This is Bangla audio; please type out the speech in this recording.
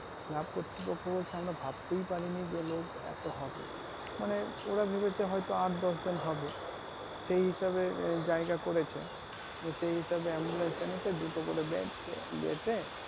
club কতৃপক্ষ বলছে যে আমরা ভাবতেই পারিনি যে লোক এত হবে মানে ওরা ভেবেছে হয়তো আট দশ জন হবে সেই হিসাবে জায়গা করেছে সেই হিসাবে ambulance এনেছে দুটো করে bed দিয়েছে